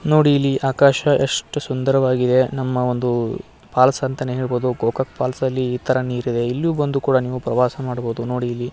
ನೋಡಿ ಇಲ್ಲಿ ಆಕಾಶ ಎಷ್ಟು ಸುಂದರವಾಗಿದೆ. ನಮ್ಮ ಒಂದು ಫಾಲ್ಸ್ ಅಂತಾನೆ ಹೇಳ್ಬಹುದು ಗೋಕಾಕ್ ಫಾಲ್ಸ್ ಅಲ್ಲಿ ಇತರ ನೀರಿದೆ ಎಲ್ಲೂ ಬಂದು ಕೂಡ ನೀವು ಪ್ರವಾಸ ಮಾಡಬಹುದು ನೋಡಿ ಇಲ್ಲಿ --